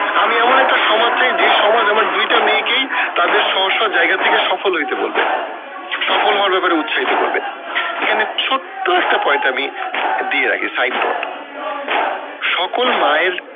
আমি এমন একটা সমাজ চাই যে সমাজ আমার দুইটা মেয়েকেই তাদের জায়গা থেকে সফল হইতে বলবে সফল হওয়ার ব্যাপারে উৎসাহিত করবে এখানে ছোট্ট একটা point আমি দিয়ে রাখি side dot সকল মায়ের